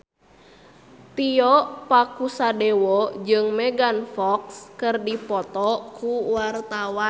Tio Pakusadewo jeung Megan Fox keur dipoto ku wartawan